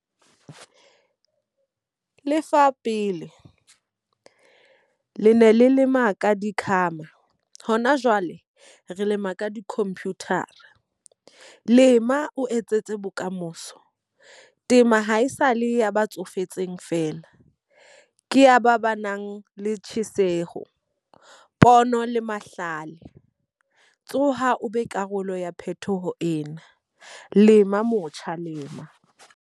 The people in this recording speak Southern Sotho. Lefa pele, le ne le lema ka di . Ho na jwale re lema ka di-computer-a. Lema o etsetse bokamoso. Tema ha esale ya ba tsofetseng fela. Ke ya ba ba nang le tjheseho, pono le mahlale. Tsoha o be karolo ya phethoho ena. Lema motjha lema.